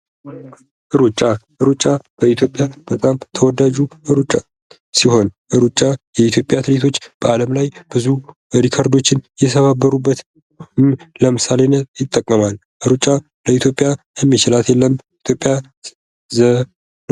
ሩጫ ሩጫ በኢትዮጵያ በጣም ተወዳጁ ሲሆን ሩጫ የኢትዮጵያ አትሌቶች በአለም ላይ ያሉ ሪከርዶዎችን የሰባበሩት ለምሳሌነት ይጠቀማል ኢትዮጵያ የሚችላት የለም።